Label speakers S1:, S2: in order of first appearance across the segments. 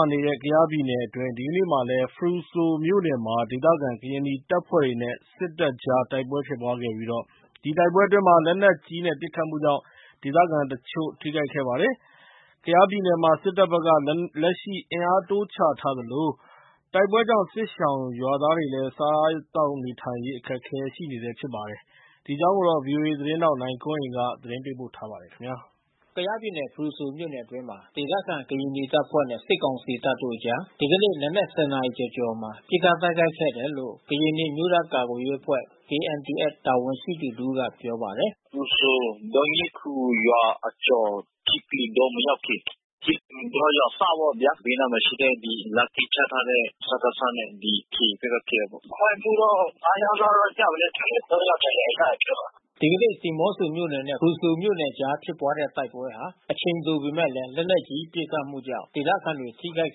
S1: ာနေတဲ့ ကယားပြည်နယ်အတွင်း ဒီကနေ့မှာလည်း ဖရူဆိုမြို့နယ်မှာ ဒေသခံကရင်နီတပ်ဖွဲ့တွေနဲ့ စစ်တပ်ကြား တိုက်ပွဲဖြစ်ပွါးခဲ့ပြီး အဲဒီတိုက်ပွဲအတွင်း လက်နက်ကြီးပစ်ခတ်မှုကြောင့် ဒေသခံတချို့ ထိခိုက်ခဲ့ပါတယ်။ ကယားပြည်နယ်မှာ စစ်တပ်ဘက်က လက်ရှိ အင်အားတိုးချထားသလို တိုက်ပွဲကြောင့် စစ်ရှောင်ရွာသားတွေလည်း စားသောက်နေထိုင်ရေး အခက်အခဲရှိနေတာပါ။ ဒီအကြောင်း ဗွီအိုအေသတင်းထောက် နိုင်ကွန်းအိန်ကနေ သတင်းပေးပို့ထားပါတယ်။ ကယားပြည်နယ် ဖရူဆိုမြို့နယ်အတွင်းမှာ ဒေသခံကရင်နီတပ်ဖွဲ့နဲ့ စစ်ကောင်စီတပ်တို့အကြား ဒီကနေ့ နံနက် ၁၀ နာရီကျော်မှာ ပစ်ခတ်တိုက်ခိုက်ခဲ့တယ်လို့ ကရင်နီအမျိုးသားကာကွယ်ရေးအဖွဲ့ KNDF တာဝန်ရှိသူတဦးကပြောပါတယ်။
S2: “ဖရူဆို ဒေါနီးခူရွာအကျော် ထိပလူတောမရောက်ခင် ထိပလူတောရွာအစပ်ပေါ့ဗျာ။ ဘေးနားမှာရှိတဲ့ ဒီလမ်းကင်းချထားတဲ့ စကစနဲ့ ဒီ KA ဘက်ကဖြစ်တာပေါ့။ ထိခိုက်မှုတော့ ငါး ယောက်လောက်တော့ ကျမယ်လို့ထင်တယ်။ သုံးယောက်ဒဏ်ရာ ရတယ်လို့ပြောတယ်။
S1: ” ဒီကနေ့ ဒီမော့ဆိုမြို့နယ်နဲ့ ဖရူဆိုမြို့နယ်ကြားဖြစ်ပွါးတဲ့တိုက်ပွဲဟာ အချိန်တိုပေမဲ့ လက်နက်ကြီး ပစ်ခတ်မှုကြောင့် ဒေသခံတွေ ထိခိုက်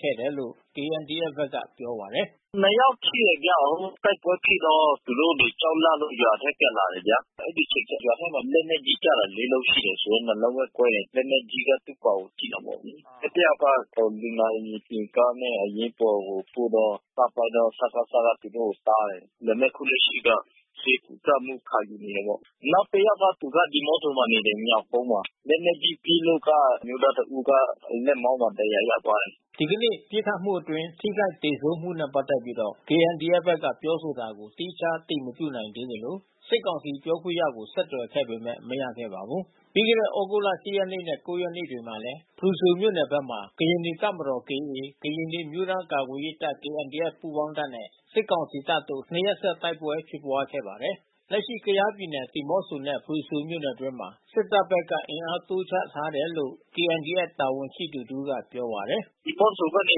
S1: ခ
S2: ဲ့တယ်လို့ KNDF ဘက်ကပြောပါတယ်။ “နှစ်ယောက်ထိတယ်ဗျ။ တိုက်ပွဲဖြစ်တော့ သူတို့တွေကြောက်လန့်လို့ ရွာထဲပြန်လာတယ်ဗျာ။ အဲဒီအချိန်ရွာထဲမှာ လက်နက်ကြီးကျတာ ၄ လုံးရှိတယ်။ နှစ်လုံးပဲ ကွဲတယ်။ လက်နက်ကြီးကသူ့ပေါင်ကိုထိတာပေါ့လေ။ အဲဒီတယောက်က လူနာတင်ယာဉ်ကားတဲ့ အရေးပေါ်ကို ပို့တော့ စကစကသူတို့ကိုတားတယ်။ ဒါပေမဲ့အခုလက်ရှိက ဆေးကုသမှုခံယူနေတယ်ပေါ့။ နောက်တယောက်က သူကဒီးမော့ဆိုမှာနေတယ်။ ညောင်ကုန်းမှာ။ လက်နက်ကြီးပစ်လို့က အမျိုးသားတဦးက လက်မောင်းမှာ ဒဏ်ရာရသွားတယ်။
S1: ” ဒီကနေ့ပစ်ခတ်မှုအတွင်း ထိခိုက် သေဆုံးမှုတွေနဲ့ပတ်သက်ပြီး KNDF ဘက်ကပြောဆိုတာကို သီးခြားအတည် မပြုနိုင်သေးသလို စစ်ကောင်စီပြောခွင့်ရကို ဆက်သွယ်ခဲ့ပေမဲ့ မရဲခဲ့ပါဘူး။ ပြီးခဲ့တဲ့ သြဂုတ်လ ၈ ရက်နဲ့ ၉ ရက်နေ့တွေမှာလည်း ဖရူဆိုမြို့နယ်ဘက်မှာ ကရင်နီတပ်မတော် ၊ ကရင်နီအမျိုးသားကာကွယ် ရေးတပ် ပူးပေါင်းတပ်နဲ့ စစ်ကောင်စီတပ်တို့ နှစ်ရက်ဆက် တိုက်ပွဲဖြစ်ပွါးခဲ့ပါတယ်။ လက်ရှိ ကယားပြည်နယ် ဒီးမော့ဆိုနဲ့ဖရူဆိုမြို့နယ်အတွင်း စစ်တပ်ဘက်က အင်အားတိုးချထားလာတယ်လို့ KNDF တာဝန်ရှိသူတဦးကပြောပါတယ်။
S2: “ဒီးမော့ဆိုကနေ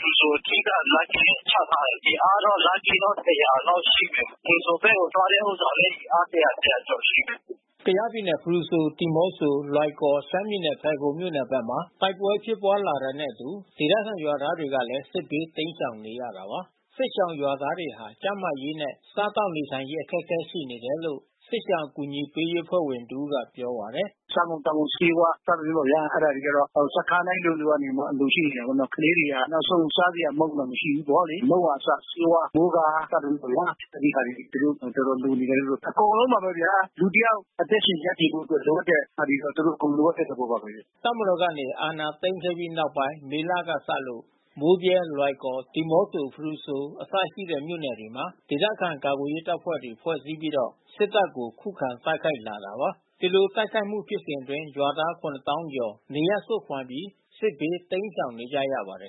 S2: ဖရူဆိုအထိက လမ်းကင်းချထားတယ်။ အင်အားတော့ လမ်းကင်းက ၁၀၀ လောက်ရှိတယ်။ ဖရူဆိုဘက်ကို သွားတဲ့ဥစ္စာလည်း အင်အား ၁၀၀ ကျော်ရှိတယ်
S1: ။” ကယားပြည်နယ် ဖရူဆို ဒီးမော့ဆို လွိုင်ကော် ရှမ်းပြည်နယ် ဖယ်ခုံမြို့နယ်ဘက်မှာ တိုက်ပွဲဖြစ်ပွါးလာတာနဲ့အတူ ဒေသခံရွာသားတွေလည်း စစ်ဘေးတိမ်းရှောင်နေရတာပါ။ စစ်ရှောင်ရွာသားတွေဟာ ကျန်းမာရေးနဲ့ စားသောက်နေထိုင်ရေး အခက်ခဲရှိနေတယ်လို့ စစ်ရှောင်ကူညီရေးအဖွဲ့ ဝင်တဦးကပြောပါတယ်။ “စားသောက်ကုန်တွေ
S2: ဆေးဝါးစသည်ဖြင့်ပေါ့ဗျာ အဲဒါတွေကျတာ့ စခန်းတိုင်းလိုလို ကနေပြီးတော့အလို ရှိနေတာပေါ့နော်။ ကလေးတွေကအစ နောက်ဆုံး စားစရာမုန့်တွေတောင်မရှိဘူး။ မုန့်ကအစ ဆေးဝါး မိုးကာစသည်ဖြင့်ဗျာ.. အဲဒီဟာတွေ သူတို့ တော်တော်လိုနေတယ်လို့။ အကုန်လုံးပါပဲဗျာ လူတယောက်အသက်ရှင်ရပ်တည်မှုအတွက် လိုအပ်တဲ့ဟာတွေက သူတို့အကုန် လိုအပ်တဲ့သဘောပါပဲ။
S1: ” တပ်မတော်ကနေ အာဏာသိမ်းခဲ့ပြီးနောက်ပိုင်း မေလက စလို့ မိုးဗြဲ၊လွိုင်ကော်၊ ဒီမော့ဆို၊ ဖရူဆို အစရှိတဲ့မြို့နယ်တွေမှာ ဒေသခံကာကွယ်ရေး တပ်ဖွဲ့တွေဖွဲ့စည်းပြီး စစ်တပ်ကို ခုခံတိုက်ခိုက်လာတာပါ။ ဒီလိုတိုက်ခိုက်မှုဖြစ်စဉ်အတွင်း ရွာသား ၇၀,၀၀၀ ကျော် နေရပ်စွန့်ခွါပြီး စစ်ဘေးတိမ်းရှောင်နေရပါတယ်